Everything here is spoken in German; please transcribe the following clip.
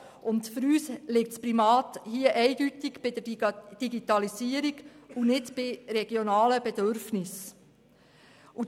Für uns liegt das Primat eindeutig bei der Digitalisierung und nicht bei regionalen Bedürfnissen.